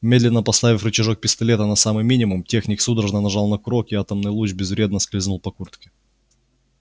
медленно поставив рычажок пистолета на самый минимум техник судорожно нажал на курок и атомный луч безвредно скользнул по куртке